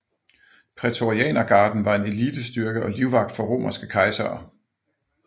Prætorianergarden var en elitestyrke og livvagt for romerske kejsere